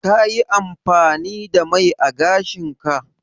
Ka yi amfani da mai ã gashin ka?